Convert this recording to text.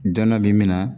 Dɔn min na